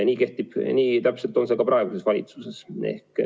Täpselt nii on see ka praeguses valitsuses.